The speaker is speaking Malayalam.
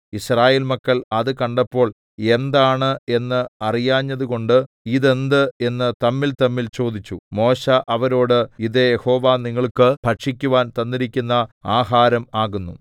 യിസ്രായേൽ മക്കൾ അത് കണ്ടപ്പോൾ എന്താണ് എന്ന് അറിയാഞ്ഞതുകൊണ്ട് ഇതെന്ത് എന്ന് തമ്മിൽതമ്മിൽ ചോദിച്ചു മോശെ അവരോട് ഇത് യഹോവ നിങ്ങൾക്ക് ഭക്ഷിക്കുവാൻ തന്നിരിക്കുന്ന ആഹാരം ആകുന്നു